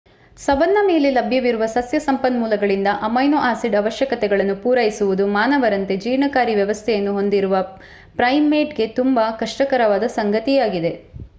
savanna ಮೇಲೆ ಲಭ್ಯವಿರುವ ಸಸ್ಯ ಸಂಪನ್ಮೂಲಗಳಿಂದ ಅಮೈನೊ-ಆಸಿಡ್ ಅವಶ್ಯಕತೆಗಳನ್ನು ಪೂರೈಸುವುದು ಮಾನವರಂತೆ ಜೀರ್ಣಕಾರಿ ವ್ಯವಸ್ಥೆಯನ್ನು ಹೊಂದಿರುವ ಪ್ರೈಮೇಟ್‌ಗೆ ತುಂಬಾ ಕಷ್ಟಕರವಾದ ಸಂಗತಿಯಾಗಿದೆ